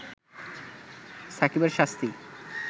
সাকিবের শাস্তি